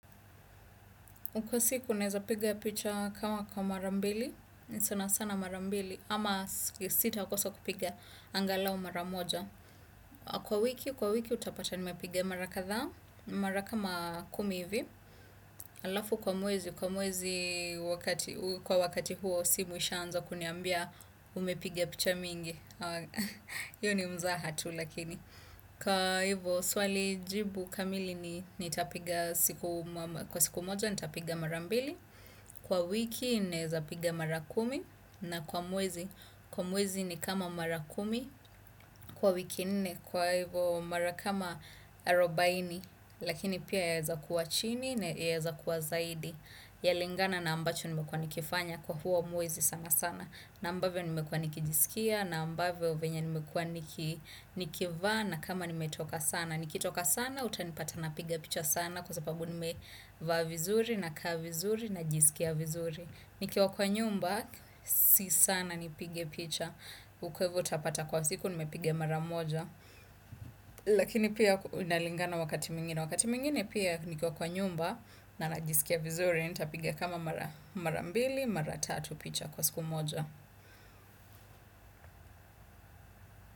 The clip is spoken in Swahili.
Kwa siku nawezapiga picha kama mara mbili sana sana mara mbili ama sitaukosa kupiga angalau mara moja. Kwa wiki, kwa wiki utapata nimepiga mara kadha, mara kama kumi hivi, alafu kwa mwezi, kwa mwezi kwa wakati huo simu ishaanza kuniambia umepiga picha mingi, hio ni mzaha tu lakini. Kwa hivyo swali jibu kamili ni nitapiga kwa siku moja nitapiga mara mbili. Kwa wiki nawezapiga mara kumi na kwa mwezi. Kwa mwezi ni kama mara kumi. Kwa wiki nne kwa hivyo mara kama arubaini. Lakini pia yawezakuwa chini na yawezakuwa zaidi. Yalingana na ambacho nimekua nikifanya kwa huo mwezi sana sana. Na ambavyo nimekua nikijisikia na ambavyo venye nimekua nikivaa na na kama nimetoka sana. Nikitoka sana, utanipata napiga picha sana kwa sababu nimevaa vizuri, nakaa vizuri, na ljisikia vizuri. Nikiwa kwa nyumba, si sana nipige picha. Kwa hivo utapata kwa siku, nimepiga mara moja. Lakini pia inalingana wakati mwengine. Wakati mwingine pia nikiwa kwa nyumba na najisikia vizuri, nitapiga kama mara mbili, mara tatu picha kwa siku moja.